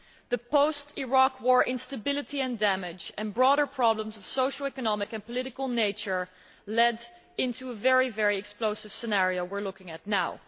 The post Iraq war instability and damage, and broader problems of a social, economic and political nature led into a very explosive scenario we are looking at now.